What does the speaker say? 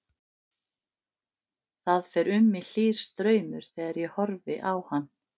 Það fer um mig hlýr straumur þegar ég horfi á hann.